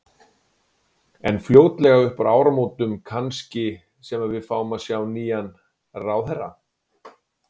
En fljótlega upp úr áramótum kannski sem að við fáum að sjá nýjan ráðherra?